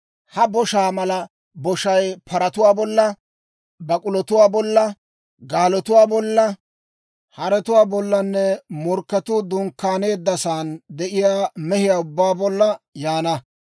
Ha boshaa mala boshay paratuwaa bolla, bak'ulotuwaa bolla, gaalotuwaa bolla, haretuwaa bollanne morkketuu dunkkaaneeddasan de'iyaa mehiyaa ubbaa bolla yaana.